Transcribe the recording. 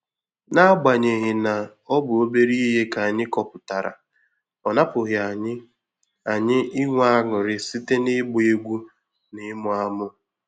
N'agbanyeghị na ọ bụ obere ihe ka anyị kọpụtara, ọ napụghị anyị anyị inwe aṅụrị site n'ịgba egwu na ịmụ amụ.